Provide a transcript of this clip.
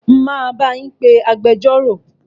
Máa bá yín pé agbẹjọ́rò.